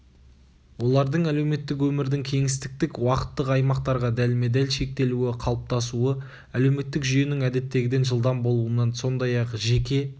олардың әлеуметтік өмірдің кеңістіктік-уақыттық аймақтарға дәлме-дәл шектелуі қалыптасуы әлеуметтік жүйенің әдеттегіден жылдам болуынан сондай-ақ жеке